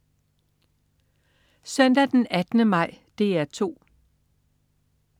Søndag den 18. maj - DR 2: